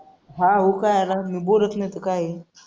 हां हो काय ना बोलत नाही तर काय.